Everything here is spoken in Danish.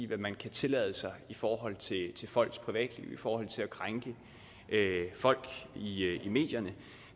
hvad man kan tillade sig i forhold til folks privatliv i forhold til at krænke folk i medierne